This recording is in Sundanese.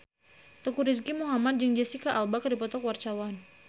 Teuku Rizky Muhammad jeung Jesicca Alba keur dipoto ku wartawan